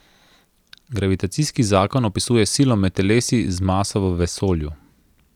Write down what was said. Gravitacijski zakon opisuje silo med telesi z maso v vesolju.